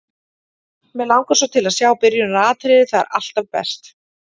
Mig langar svo til að sjá byrjunaratriðið, það er alltaf best.